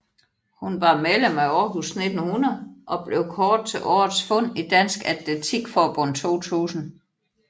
Hun var medlem af Aarhus 1900 og blev kåret til Årets fund i Dansk Atletik Forbund 2000